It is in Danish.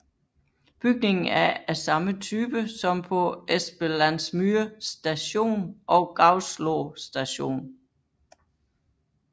Bygningen er af samme type som på Espelandsmyr Station og Gauslå Station